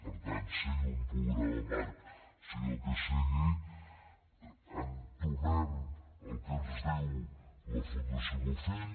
per tant sigui un programa marc sigui el que sigui entomem el que ens diu la fundació bofill